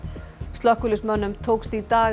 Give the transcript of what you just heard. slökkviliðsmönnum tókst í dag